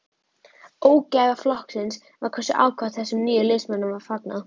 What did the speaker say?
Ógæfa flokksins var hversu ákaft þessum nýju liðsmönnum var fagnað.